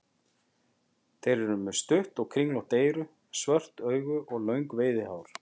Þeir eru með stutt og kringlótt eyru, stór svört augu og löng veiðihár.